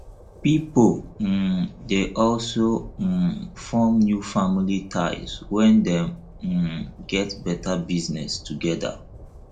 pipo um de also um form new family ties when dem um get better business together